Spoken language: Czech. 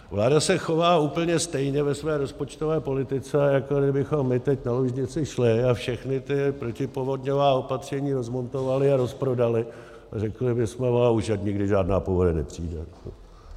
Vláda se chová úplně stejně ve své rozpočtové politice, jako kdybychom my teď na Lužnici šli a všechna ta protipovodňová opatření rozmontovali a rozprodali a řekli bychom: Už ať nikdy žádná povodeň nepřijde.